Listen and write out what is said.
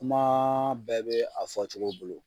Kumaa bɛɛ be a fɔcogo bolo.